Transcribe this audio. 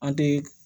An te